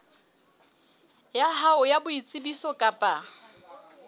ya hao ya boitsebiso kapa